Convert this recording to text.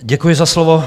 Děkuji za slovo.